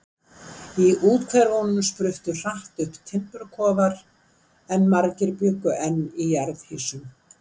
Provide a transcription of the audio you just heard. Í úthverfunum spruttu hratt upp timburkofar, en margir bjuggu enn í jarðhýsum.